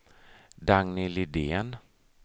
Dagny Lidén